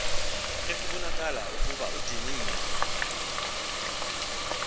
ekubonakala ukuba udiniwe